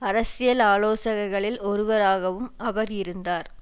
அரசியல் ஆலோசகர்களில் ஒருவராகவும் அவர் இருந்தார்